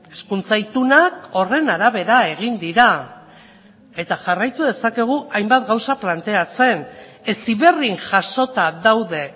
hezkuntza itunak horren arabera egin dira eta jarraitu dezakegu hainbat gauza planteatzen heziberrin jasota daude